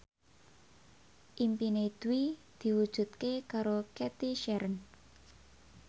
impine Dwi diwujudke karo Cathy Sharon